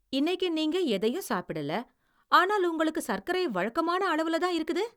இன்னைக்கு நீங்க எதையும் சாப்பிடல, ஆனால் உங்களுக்கு சக்கரை வழக்கமான அளவுலதான் இருக்குது!